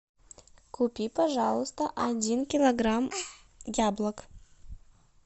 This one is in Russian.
купи пожалуйста один килограмм яблок